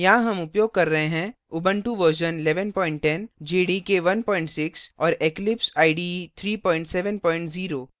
यहाँ हम उपयोग कर रहे हैं